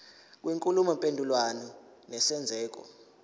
kwenkulumo mpendulwano nesenzeko